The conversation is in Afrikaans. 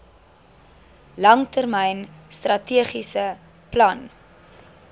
langtermyn strategiese plan